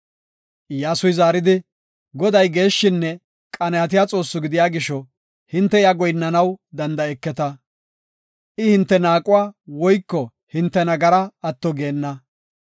Iyyasuy zaaridi, “Goday geeshshinne qanaatiya Xoossi gidiya gisho, hinte iya goyinnanaw danda7eketa. I hinte naaquwa woyko hinte nagara atto geenna.